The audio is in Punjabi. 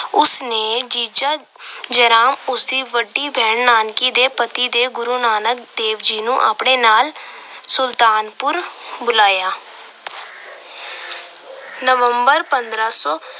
ਉਸ ਨੇ ਜੀਜਾ ਜੈ ਰਾਮ ਉਸ ਦੀ ਵੱਡੀ ਭੈਣ ਨਾਨਕੀ ਦੇ ਪਤੀ ਦੇ ਗੁਰੂ ਨਾਨਕ ਦੇਵ ਜੀ ਨੂੰ ਆਪਣੇ ਨਾਲ ਸੁਲਤਾਪੁਰ ਬੁਲਾਇਆ। November ਪੰਦਰਾਂ ਸੌ